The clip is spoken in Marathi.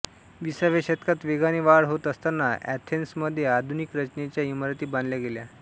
विसाव्या शतकात वेगाने वाढ होत असताना अथेन्समध्ये आधुनिक रचनेच्या इमारती बांधल्या गेल्या